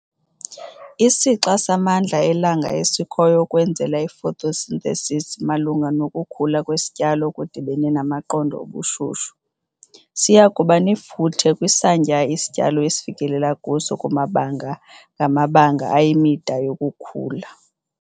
Isixa samandla elanga esikhoyo ukwenzela ifotosinthesisi malunga nokukhula kwesityalo okudibene namaqondo obushushu, siya kuba nefuthe kwisantya isityalo esifikelela kuso kumabanga ngamabanga ayimida yokukhula.